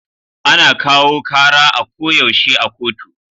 Ana kawo kara a ko yaushe a kotu